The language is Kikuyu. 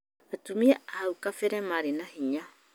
Atumia a hau gabere marĩ na hinya